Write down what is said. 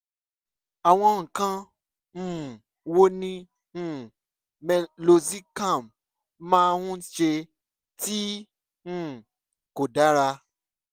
àwọn nǹkan um wo ni um meloxicam máa ń ṣe tí um kò dára?